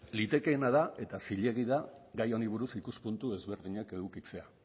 litekeena da eta zilegi da gai honi buruz ikuspuntu ezberdinak edukitzea